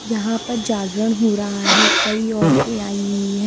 यहां पर जागरण हो रहा है कई औरतें आई हुई है।